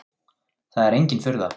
Það er engin furða.